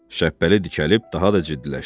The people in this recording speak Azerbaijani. Şəbpəli dikəlib daha da ciddiləşdi.